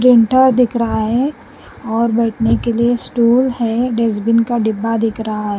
Printer दिख रहा है और बैठने के लिए स्टूल है डेस्टबिन का डिब्बा दिख रहा है।